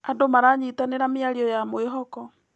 Andũ maranyitanĩra mĩario ya mwĩhoko.